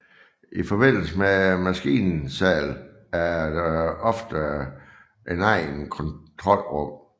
I forbindelse med maskinsalen er det ofte et eget kontrolrum